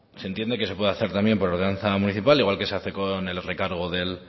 se entiende que se puede hacer por ordenanza municipal igual que se hace con el recargo